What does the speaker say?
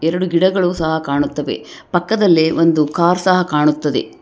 ಎರಡು ಗಿಡಗಳು ಸಹ ಕಾಣುತ್ತವೆ ಪಕ್ಕದಲ್ಲಿ ಒಂದು ಕಾರ್ ಸಹ ಕಾಣುತ್ತದೆ.